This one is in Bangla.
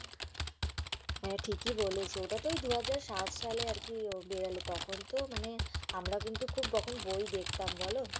হ্যা ঠিকই বলেছ, ওটা তো এই দুহাজার সাত সালে এ আরকি বেরোল তখন তো মানে আমরা কিন্তু খুব তখন বই দেখতাম বলো?